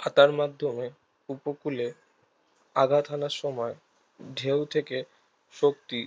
খাতার মাধ্যমে উপকূলে আঘাত হানার সময় ঢেউ থেকে শক্তি